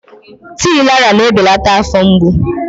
Tii Laraa na-ebelata afọ mgbu.